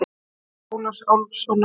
Móðir Ólafs Álfssonar.